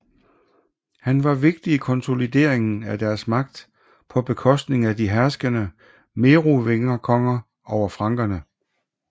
Han var vigtig i konsolideringen af deres magt på bekostning af de herskende merovingerkonger over frankerne